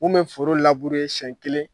Anw bɛ foro labure siɲɛn kelen.